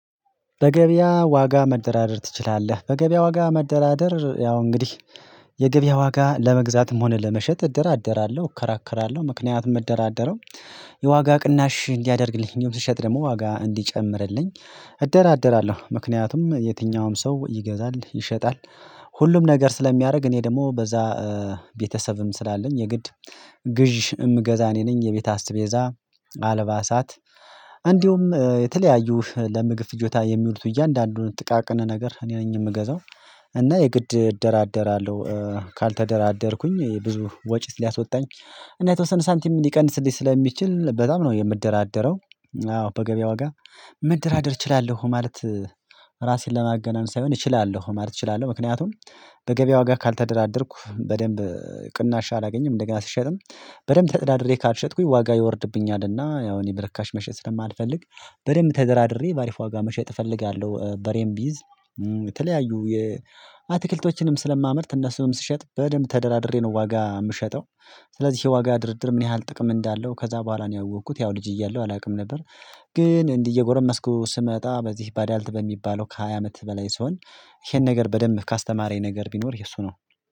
በገበያ ዋጋ መደራደር ትችላለህ? በገበያ ዋጋ መደራደር ያው እንግዲህ የገበያ ዋጋ ለመግዛትም ሆነ ለመሸጥ እደራደራለሁ እከራከራለሁ ምክንያቱም መደራደረው የዋጋ ቅናሽ እንዲያደርግልኝ የምትሸጥ ደግሞ ዋጋ እንዲጨምርልኝ እደራደራለሁ ምክንያቱም የትኛውም ሰው ይገዛል ይሸጣል ሁሉም ነገር ስለሚያደርግ እኔ ደግሞ በዛ ቤተሰብም ስላለኝ የግድ ግዥ የምገዛ እኔ ነኝ የቤት አስቤዛ አልባሳት እንዲሁም የተለያዩ ለምግብ ፍጆታ የሚሉት እያንዳንዱን ጥቃቅነ ነገር እኔ ነኝ የምገዛው እና የግድ እደራደራለሁ ካልተደራደርኩኝ ብዙ ወጪ ሊያስወጣኝ እና የተወሰነ ሳንቲም ሊቀንስልኝ ስለሚችል በጣም ነው የምደራደረው አዎ በገበያ ዋጋ ምደራደር እችላለሁ ማለት ራሴን ለማገናን ሳይሆን እችላለሁ ማለት እችላለሁ ምክንያቱም በገበያ ዋጋ ካልተደራደርኩ በደንብ ቅናሻ አላገኝም እንደገና ስሸጥም በደንብ ተጥዳድሬ ካልሸጥኩኝ ዋጋ ይወርድብኝ አለና ያው እኔ በረካሽ መሸጥ ስለማልፈልግ በሬም ተደራድሬ በአሪፍ ዋጋ መሸጥ እፈልጋለሁ በሬም ቢይዝ የተለያዩ የአትክልቶችንም ስለማምርት እነሱንም ስሸጥ በደንብ ተደራድሬ ነው ዋጋ የምሸጠው ስለዚህ የዋጋ ድርድር ምን ያህል ጥቅም እንዳለው ከዛ በኋላ ነው ያወቅኩት ያው ልጅ እያለሁ አላውቅም ነበር ግን እንዲህ እየጎረመስኩ ስመጣ በዚህ ባዳልት በሚባለው ከሃያ አመት በላይ ስሆን ይሄን ነገር በደንብ ካስተማረኝ ነገር ቢኖር የእሱ ነው